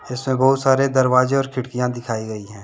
इसमें बहुत सारे दरवाजे और खिड़कियां दिखाई गई हैं।